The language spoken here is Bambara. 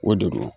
O de don